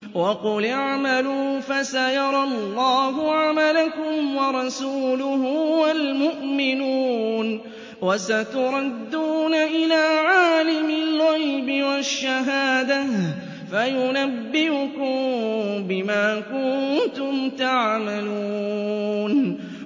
وَقُلِ اعْمَلُوا فَسَيَرَى اللَّهُ عَمَلَكُمْ وَرَسُولُهُ وَالْمُؤْمِنُونَ ۖ وَسَتُرَدُّونَ إِلَىٰ عَالِمِ الْغَيْبِ وَالشَّهَادَةِ فَيُنَبِّئُكُم بِمَا كُنتُمْ تَعْمَلُونَ